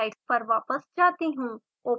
slide पर वापस जाती हूँ